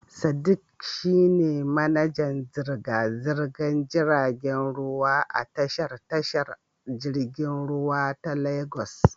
Sadiq shi ne manajan zirga-zirgar jiragen ruwa a tashar tashar jirgin ruwa ta Legas.